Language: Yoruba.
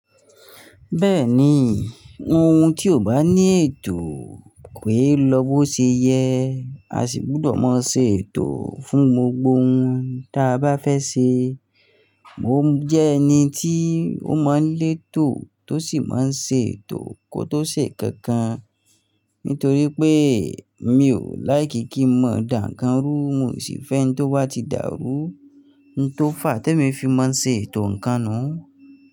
Bẹ́ẹ̀ni, ohun tí ò bá ní ètò ko e lọ bó ṣe yẹ, a sì gbudọ̀ máa ṣe ètò fún gbogbo ohun ta bá fẹ́ ṣe. Mo jẹ́ ẹni tí ó mọ́ lètò tó sì máa ń ṣe ètò kó tó ṣe kankan. Nítorí pé mi ò láìkì kí mọ̀ dá nǹkan rú, un o sì fẹ́ n tó bá ti dàrú n tó fà á te mi fi máa ń ṣe ètò ǹkan nu.